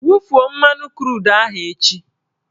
Wufuo mmanụ krudu ahụ echi!